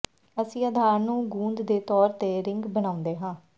ਅਸੀਂ ਆਧਾਰ ਨੂੰ ਗੂੰਦ ਦੇ ਤੌਰ ਤੇ ਰਿੰਗ ਬਣਾਉਂਦੇ ਹਾਂ